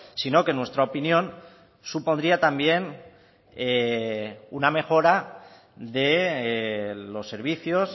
sino que en nuestra opinión supondría también una mejora de los servicios